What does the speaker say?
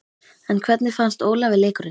En hvernig fannst Ólafi leikurinn?